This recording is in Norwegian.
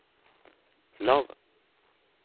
lav